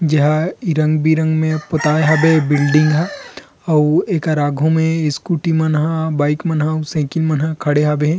जहां इ रंग-बिरंग में पोताये हवे बिल्डिंग ह अऊ एकर आगू म स्कूटी मन हा बाइक मन ह साइकिल मन ह खड़े हबे हे।